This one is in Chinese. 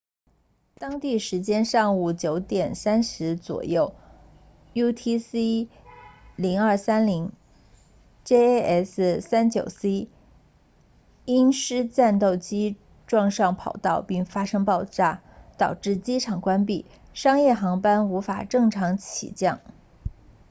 当地时间上午 9:30 左右 utc 0230 jas 39c 鹰狮战斗机撞上跑道并发生爆炸导致机场关闭商业航班无法正常起降